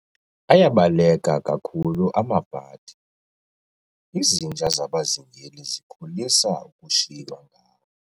Ayabaleka kakhulu amabhadi, izinja zabazingeli zikholisa ukushiywa ngawo.